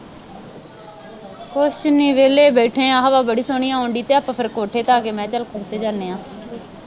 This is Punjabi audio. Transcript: ਕੁੱਛ ਨਹੀਂ ਵਿਹਲੇ ਬੈਠੇ ਹਾਂ, ਹਵਾ ਬੜੀ ਸੋਹਣੀ ਆਉਣ ਡੀ, ਫੇਰ ਕੋਠੇ ਤੇ ਆ ਗਏ, ਮੈਂ ਕਿਹਾ ਚੱਲ ਜਾਂਦੇ ਹਾਂ